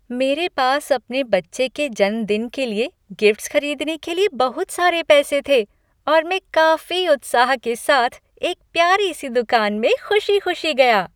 मेरे पास अपने बच्चे के जन्मदिन के लिए गिफ्ट्स खरीदने के लिए बहुत सारे पैसे थे और मैं काफी उत्साह के साथ एक प्यारी सी दुकान में खुशी खुशी गया।